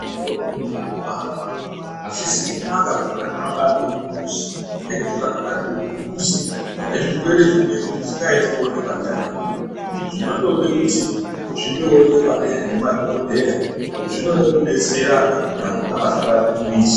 Vana vadodori vanobarwa azvizi kunaka kuti vana vabarirwe mumuzi ngekuti vakabarirwe mumuzi vane zvirwere zvimweni zvisingaiti kuonekwa ndiana mukoti zvinondode kuti zvindoonekwa ngemadhokoteya .Zvinoda kudetserana kuti vantu ngavasabarira mumizi.